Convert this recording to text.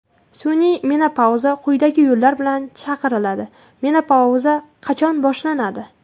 Sun’iy menopauza quyidagi yo‘llar bilan chaqiriladi: Menopauza qachon boshlanadi?